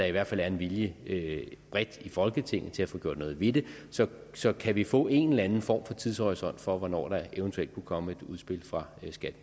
i hvert fald er en vilje vilje bredt i folketinget til at få gjort noget ved det så så kan vi få en eller anden form for tidshorisont for hvornår der eventuelt kunne komme et udspil fra